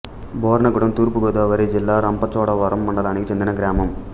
బొర్నగూడెం తూర్పు గోదావరి జిల్లా రంపచోడవరం మండలానికి చెందిన గ్రామం